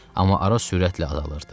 Amma ara sürətlə azalırdı.